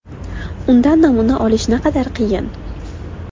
Undan namuna olish naqadar qiyin.